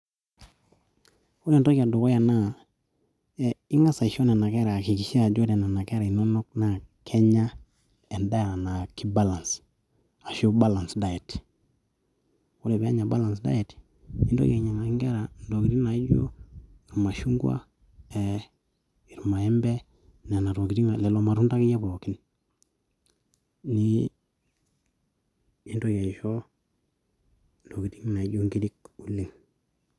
Ore entoki edukuya naa ing'as aakikisha ore nena keta inonok naa Kenya endaa naa keibalance ashuu balance diet ore pee enya balance diet nintoki ainyiang'aki inkera intokitin naaijio irmashungua ee irmaembe nanatokitin lelo matunda akeyie pooikin nintoki aisho inkirik oleng.